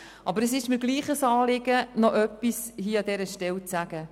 Aber es ist mir doch ein Anliegen, hier noch etwas dazu zu sagen.